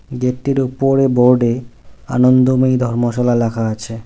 গেটটির ওপরে বোর্ডে আনন্দময়ী ধর্মশালা ল্যাখা আছে।